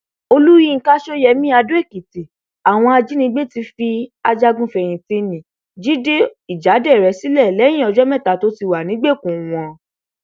olùyinka ṣọyẹmi adóèkìtì àwọn ajànigbé ti fi ajagunfẹyìntì ńnì jíde ìjáderẹ sílẹ lẹyìn ọjọ mẹta tó ti wà nígbèkùn wọn